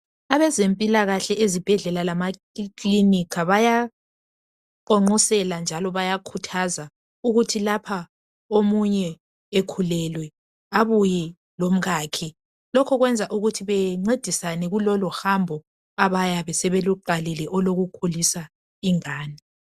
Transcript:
Abezempilakahle ezibhedlela lemakilinika, bayaqonqosela njalo bayakhuthazwa .Ukuthi lapha omunye ekhulelwe abuye lomkakhe ,lokho kwenza ukuthi bencedisane kulolo hambo abayabe sebeluqalile olokukhulisa ingane.